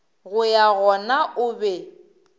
go ya gona o be